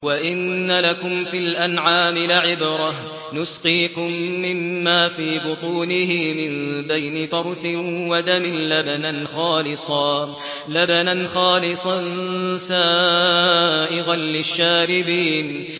وَإِنَّ لَكُمْ فِي الْأَنْعَامِ لَعِبْرَةً ۖ نُّسْقِيكُم مِّمَّا فِي بُطُونِهِ مِن بَيْنِ فَرْثٍ وَدَمٍ لَّبَنًا خَالِصًا سَائِغًا لِّلشَّارِبِينَ